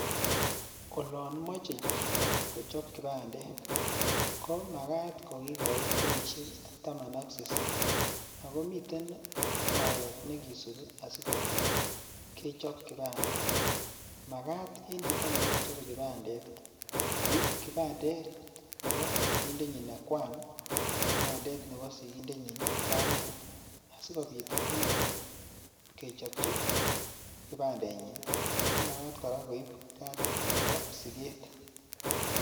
Olon moche chito kochob kibandet, komakat kokikoit kenyisiek taman ak sisit, ako miten oret nekisupii asipit kechob kibandet magat en chito nebo kochobee kibandet ii, koib kibandet nebo sigindenyin ne kwan ak kibandet nebo sigindenyin ne kamet asikopit konyor kechobchi kibandenyin komakat koraa koib cardit nebo siget